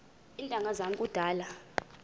iintanga zam kudala